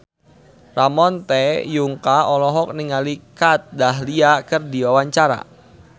Ramon T. Yungka olohok ningali Kat Dahlia keur diwawancara